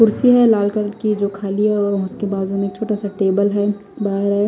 कुर्सी हैं लाल कलर की जो खाली है और उसके बाजू में एक छोटा सा टेबल है बाहर है।